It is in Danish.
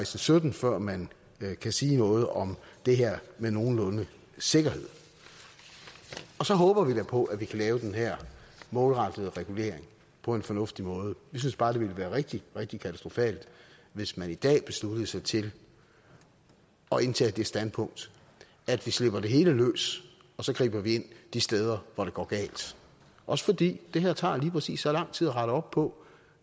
til sytten før man kan sige noget om det her med nogenlunde sikkerhed så håber vi da på at vi kan lave den her målrettede regulering på en fornuftig måde vi synes bare at det ville være rigtig rigtig katastrofalt hvis man i dag besluttede sig til at indtage det standpunkt at vi slipper det hele løs og så griber vi ind de steder hvor det går galt også fordi det her tager lige præcis så lang tid at rette op på